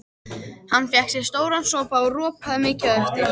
Hann fékk sér stóran sopa og ropaði mikið á eftir.